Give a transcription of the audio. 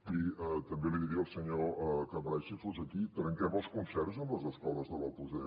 i també li diria al senyor cambray si fos aquí trenquem els concerts amb les escoles de l’opus dei